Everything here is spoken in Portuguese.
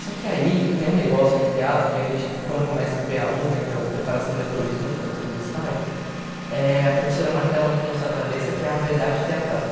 Só que aí tem um negócio no teatro que a gente, quando começa o pê á um, que é o Preparação de Atores Um, que é o primeiro estágio, eh a professora martela muito na sua cabeça que é a verdade teatral.